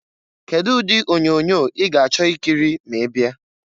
Kedu ụdị onyoonyo ị ga-achọ ikiri ma ị bịa?